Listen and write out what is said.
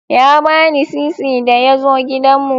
Ya bani sisi da ya zo gidanmu.